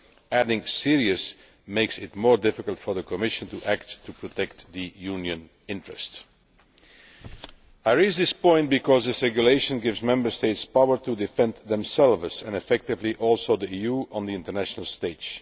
Adding serious' makes it more difficult for the Commission to act to protect the Union's interests. I raise this point because this Regulation gives Member States power to defend themselves and also, effectively, the EU on the international stage.